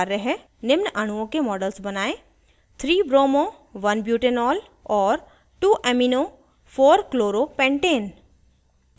* निम्न अणुओं के मॉडल्स बनायें 3bromo1butanol और 2amino4chloropentane